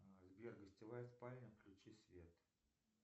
сбер гостевая спальня включи свет